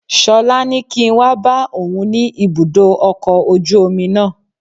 Ṣọlá ní kí n wá bá òun ni ibùdó ọkọ̀ ojú omi náà